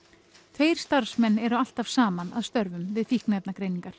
tveir starfsmenn eru alltaf saman að störfum við